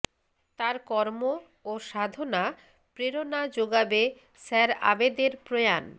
তাঁর কর্ম ও সাধনা প্রেরণা জোগাবে স্যার আবেদের প্রয়াণ